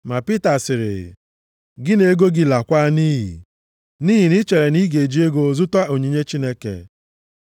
Ma Pita sịrị, “Gị na ego gị laakwa nʼiyi. Nʼihi na i chere na ị ga-eji ego zụta onyinye Chineke.